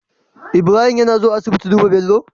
Ibrahim yAna zuwa asibiti duba Bello?